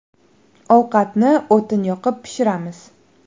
Ovqatni o‘tin yoqib pishiramiz.